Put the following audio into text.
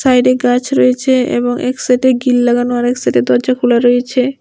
সাইডে গাছ রয়েছে এবং এক সাথে গিল লাগানো আর এক সাইডে দরজা খুলা রয়েছে।